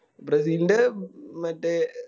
ബ്രസീലിൻറെ മറ്റേ